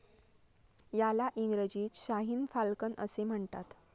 याला इंग्रजीत शाहीन फाल्कन असे म्हणतात.